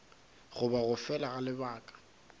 goba go fela ga lebaka